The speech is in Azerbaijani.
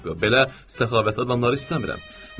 Allah haqqı, belə səxavətli adamları istəmirəm.